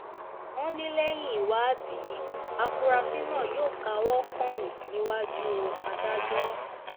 wọ́n ní lẹ́yìn ìwádìí àfúráṣí náà yóò káwọ́ pọ̀nyìn níwájú adájọ́